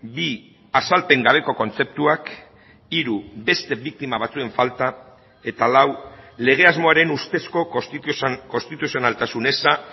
bi azalpen gabeko kontzeptuak hiru beste biktima batzuen falta eta lau legea asmoaren ustezko konstituzionaltasun eza